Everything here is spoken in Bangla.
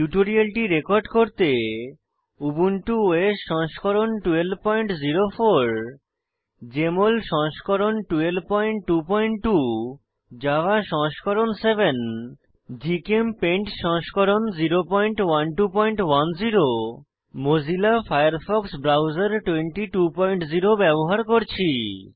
টিউটোরিয়ালটি রেকর্ড করতে উবুন্টু ওএস সংস্করণ 1204 জেএমএল সংস্করণ 1222 জাভা সংস্করণ 7 জিচেমপেইন্ট সংস্করণ 01210 মোজিলা ফায়ারফক্স ব্রাউজার 220 ব্যবহার করছি